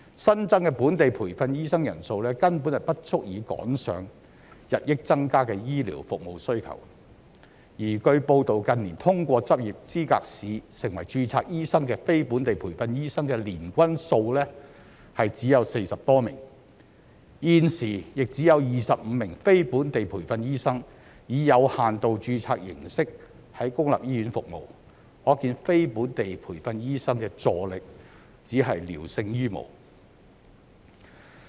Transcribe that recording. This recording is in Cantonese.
新增的本地培訓醫生人數根本不足以趕上日益增加的醫療服務需求，而據報道近年通過執業資格試成為註冊醫生的非本地培訓醫生的年均數只有40多名，現時亦只有25名非本地培訓醫生以有限度註冊形式在公立醫院服務，可見非本地培訓醫生的助力只是聊勝於無。